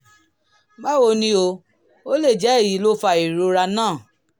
báwo ni o? ó lè jẹ́ èyí ló fa ìrora náà